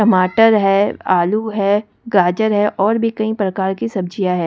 टमाटर है आलू है गाजर है और भी कई प्रकार की सब्जियां है।